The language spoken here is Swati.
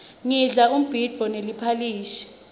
ngidla umbhidvo neliphalishi